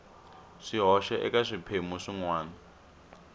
swihoxo eka swiphemu swin wana